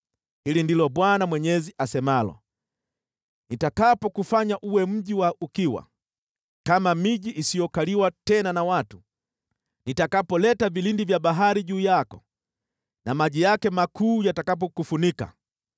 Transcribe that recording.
“Hili ndilo Bwana Mwenyezi asemalo: Nitakapokufanya uwe mji wa ukiwa, kama miji isiyokaliwa tena na watu, nitakapoleta vilindi vya bahari juu yako na maji yake makuu yatakapokufunika,